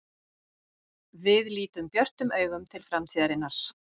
Við lítum björtum augum til framtíðarinnar.